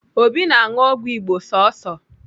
Obi na-aṅụ ọgwụ Igbo sọsọ.